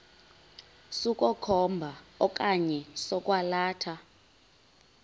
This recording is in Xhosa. sokukhomba okanye sokwalatha